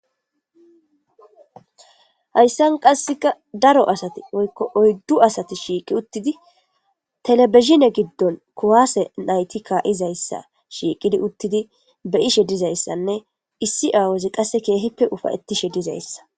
hayssan qasseka daro asati woykko oyddu asati shiiqi uttidi telebizine giddon kuwaase nayti kaa7izayssa shiiqidi uttidi beyishe dizayssanne issi awozi qasse keehippe ufayettishe dizayssa